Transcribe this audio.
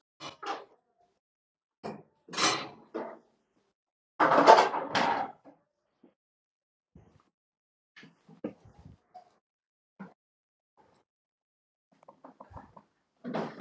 Þetta slapp allt saman til